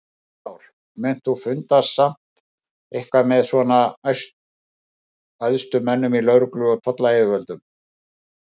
Heimir Már: Munt þú funda samt eitthvað með svona æðstu mönnum í lögreglu og tollayfirvalda?